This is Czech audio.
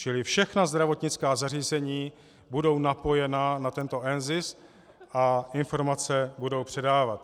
Čili všechna zdravotnická zařízení budou napojena na tento NZIS a informace budou předávat.